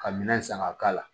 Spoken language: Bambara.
Ka minɛn san ka k'a la